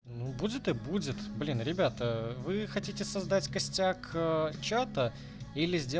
ну будет и будет блин ребята вы хотите создать костяк а чата или сделать